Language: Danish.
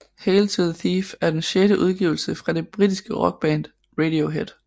Hail to the Thief er den sjette udgivelse fra det britiske rockband Radiohead